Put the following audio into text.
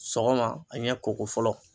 Sɔgɔma a ɲɛ koko fɔlɔ.